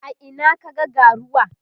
a Ina ka ga ga ruwa?